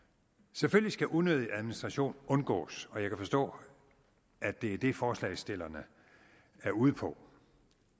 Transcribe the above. selvfølgelig skal unødig administration undgås og jeg kan forstå at det er det forslagsstillerne er ude på